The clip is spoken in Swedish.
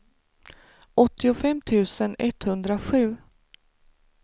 åttiofem tusen etthundrasju